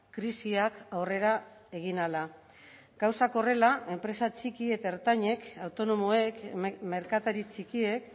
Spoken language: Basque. krisiak aurrera egin ahala gauzak horrela enpresa txiki eta ertainek autonomoek merkatari txikiek